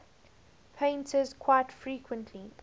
painters quite frequently